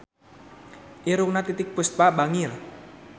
Irungna Titiek Puspa bangir